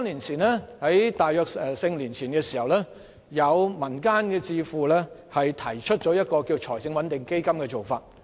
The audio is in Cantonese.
在大約四五年前，有民間智庫提出財政穩定基金的做法。